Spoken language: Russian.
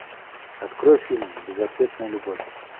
открой фильм безответная любовь